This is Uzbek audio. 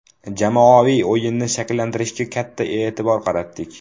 Jamoaviy o‘yinni shakllantirishga katta e’tibor qaratdik.